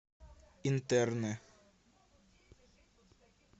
интерны